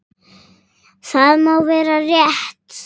Það má vera rétt.